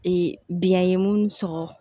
Ee biɲɛ ye mun sɔgɔ